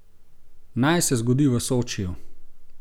Naj se zgodi v Sočiju...